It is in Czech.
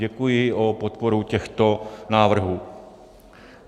Děkuji za podporu těchto návrhů.